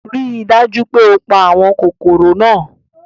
Rii daju pe o pa awọn kokoro naa